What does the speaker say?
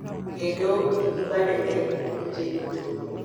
Kendo nigi badene e pinje duto.